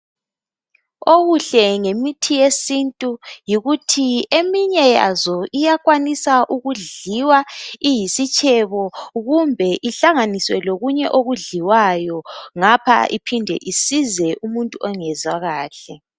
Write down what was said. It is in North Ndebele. Okuhle ngemithi yesintu yikuthi eminye yazo iyakwanisa ukudliwa iyisitshebo kumbe ihlanganiswe lokunye okudliwayo ngapha iphinde isize umuntu ongezwa kahle.